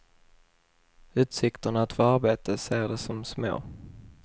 Utsikterna att få arbete ser de som små.